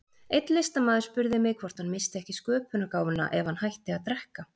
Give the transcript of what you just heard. Einn listamaður spurði mig hvort hann missti ekki sköpunargáfuna ef hann hætti að drekka.